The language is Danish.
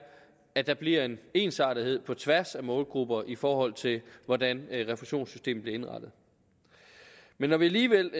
at der bliver en ensartethed på tværs af målgrupper i forhold til hvordan refusionssystemet bliver indrettet men når vi alligevel